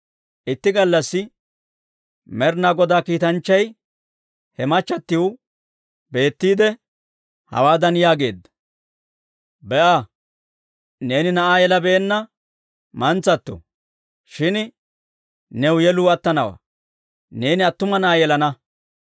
Itti gallassi Med'inaa Godaa kiitanchchay he machatiw beetiide, hawaadan yaageedda; «Be'a, neeni na'aa yelabeenna mantsato; shin new yeluu attanawaa; neeni attuma na'aa yelana.